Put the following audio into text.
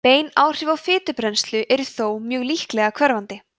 bein áhrif á fitubrennslu eru þó mjög líklega hverfandi